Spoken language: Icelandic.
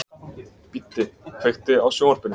Biddi, kveiktu á sjónvarpinu.